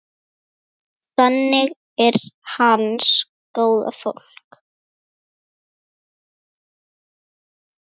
Þannig er hans góða fólk.